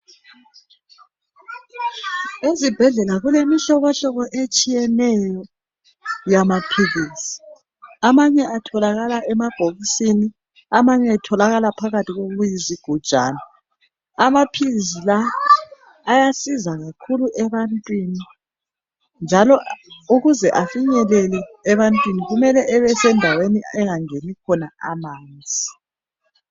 Ezibhedlela kulemihlobohlobo etshiyeneyo yamaphilisi. Amanye atholakala emabhokisini, amanye atholakala phakathi kokuyizigujana. Amaphilisi la ayasiza kakhulu ebantwini njalo ukuze afinyelele ebantwini kumele abesendaweni engangeni khona amanzi.